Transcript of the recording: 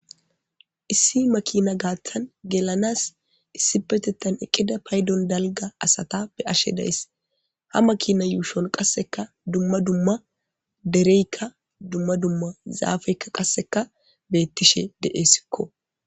Issi makiina gathan gelanas issipetethan eqqida paydon dalgga asata be'ashe days ha makina yuushon qassekka dumma dumma derekka dumma dumma zaafeka qassekka beetish de'eskko